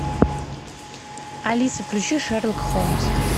алиса включи шерлок холмс